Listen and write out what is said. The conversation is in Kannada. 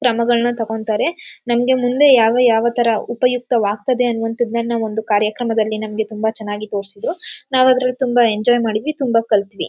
ಕ್ರಮಗಳ್ನ ತೊಗೊಂಡ್ತ್ತಾರೆ. ನಂಗೆ ಮುಂದೆ ಯಾವ ಯಾವ ಥರ ಉಪಯುಕ್ತವಾಗ್ತದೆ ಅನ್ನುವಂತದ್ನ ಒಂದು ಕಾರ್ಯಕ್ರಮದಲ್ಲಿ ನಮಗೆ ತುಂಬಾ ಚೆನ್ನಾಗಿ ತೋರುಸುದ್ರೂ. ನಾವ್ ಅದ್ರಲ್ ತುಂಬಾ ಎಂಜಾಯ್ ಮಾಡುದ್ವಿ ತುಂಬಾ ಕಲುಥ್ವಿ.